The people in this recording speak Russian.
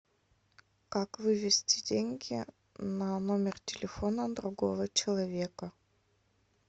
как вывести деньги на номер телефона другого человека